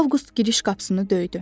Avqust giriş qapısını döydü.